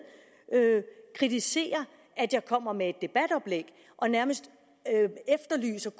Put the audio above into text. kritiserer at jeg kommer med et debatoplæg og nærmest efterlyser